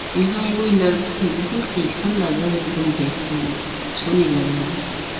यहां एगो इ लड़को हेय लेकिन कैसन लगे हेय एकदम देखे मे कुछो ने लगे हेय इ देखे मे।